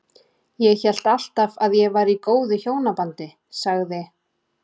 Ég hélt alltaf að ég væri í góðu hjónabandi- sagði